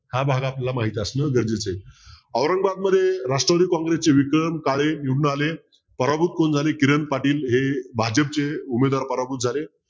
हा भाग आपल्याला माहित असणं गरजेचं आहे औरंगाबादमध्ये राष्ट्रवादी काँग्रेसचे विक्रम काळे निवडून आले पराभूत कोण झाले किरण पाटील हे भाजपचे उमेदवार पराभूत झाले